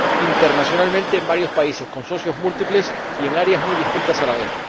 internacionalmente en varios países, con socios múltiples y en áreas muy distintas a la vez.